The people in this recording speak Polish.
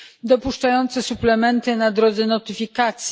dopuszczające suplementy w drodze notyfikacji.